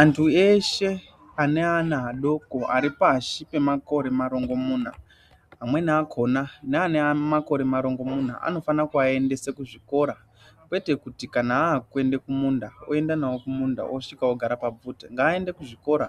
Antu eshe ane ana adoko aripashi pemakore marongomuna amweni akona neane makore marongomuna anofane kuaendese kuzvikora kwete kuti kana akuende kumunda oendanawo kumunda osvike ogare pabvute ngaende kuzvikora